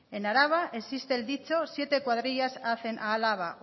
en araba existe el dicho siete cuadrillas hacen a álava